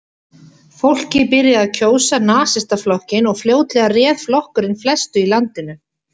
Fólkið byrjaði að kjósa Nasistaflokkinn og fljótlega réð flokkurinn flestu í landinu.